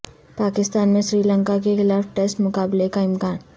پاکستان میں سری لنکا کے خلاف ٹسٹ مقابلہ کا امکان